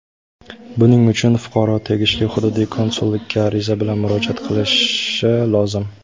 Buning uchun fuqaro tegishli hududiy konsullikka ariza bilan murojaat qilishi lozim.